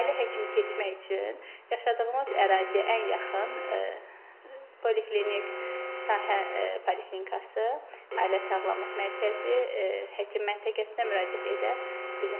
Ailə həkimi seçmək üçün yaşadığımız əraziyə ən yaxın poliklinik, sahə poliklinikası, ailə sağlamlıq mərkəzi, həkim məntəqəsinə müraciət edə bilər.